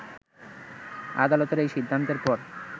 আদালতের এই সিদ্ধান্তের পর